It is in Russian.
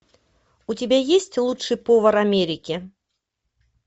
у тебя есть лучший повар америки